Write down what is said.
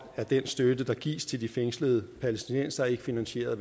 er den støtte der gives til de fængslede palæstinensere ikke finansieret